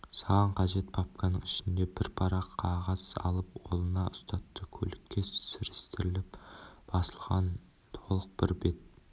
саған қажет папканың ішінен бір парақ қағаз алып қолына ұстатты көлікке сірестіріліп басылған толық бір бет